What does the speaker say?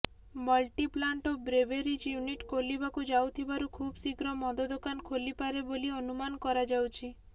bottling plant ଓ breweries unit ଖୋଲିବାକୁ ଯାଉଥିବାରୁ ଖୁବ୍ଶୀଘ୍ର ମଦ ଦୋକାନ ଖୋଲିପାରେ ବୋଲି ଅନୁମାନ କରାଯାଉଛି